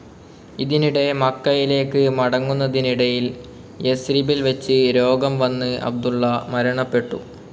ഇതിനിടെ മക്കയിലേക്ക് മടങ്ങുന്നതിനിടയിൽ യസ്രിബിൽ വച്ച് രോഗം വന്ന് അബ്ദുള്ള മരണപ്പെട്ടു.